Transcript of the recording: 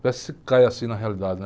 Parece que você cai assim na realidade, né?